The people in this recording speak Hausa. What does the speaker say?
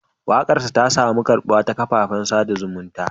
Wakarsa ta samu karbuwa ta kafafen sada zumunta.